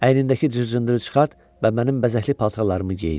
Əlindəki cır-cındırı çıxart və mənim bəzəkli paltarlarımı geyin.